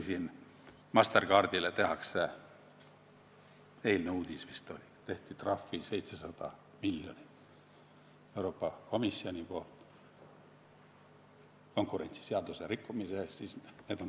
Mastercardile teeb Euroopa Komisjon – eile vist oli selline uudis – 700 miljonit eurot trahvi konkurentsiseaduse rikkumise eest.